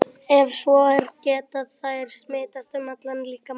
Ef svo er, geta þær smitast um allan líkamann?